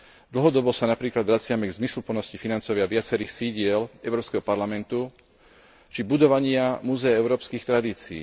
Dlhodobo sa napríklad vraciame k zmysluplnosti financovania viacerých sídiel Európskeho parlamentu, či budovania Múzea európskych tradícií.